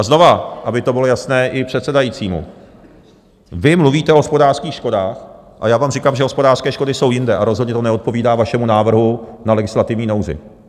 A znovu, aby to bylo jasné i předsedajícímu, vy mluvíte o hospodářských škodách a já vám říkám, že hospodářské škody jsou jinde a rozhodně to neodpovídá vašemu návrhu na legislativní nouzi.